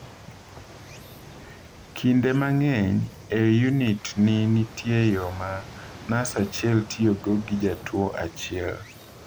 Kinde mang’eny e unit ni nitie yo ma nas achiel tiyogo gi jatuwo achiel.